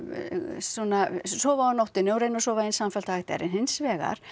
svona sofa á nóttunni og reyna að sofa eins samfellt og hægt er en hins vegar